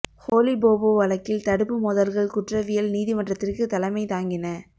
ஹோலி போபோ வழக்கில் தடுப்பு மோதல்கள் குற்றவியல் நீதிமன்றத்திற்கு தலைமை தாங்கின